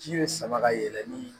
Ji bɛ sama ka yɛlɛ ni